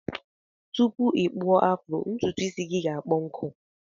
Tupu ikpụọ afro ntụtụ isi gi ga akpọ nkụ.